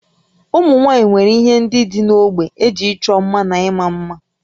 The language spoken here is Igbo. Ụmụ nwaanyị nwere ihe ndị dị n'ógbè eji ịchọ mma na ịma mma